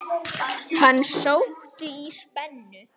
Hann sótti í spennu.